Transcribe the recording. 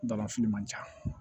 Balanfili man ca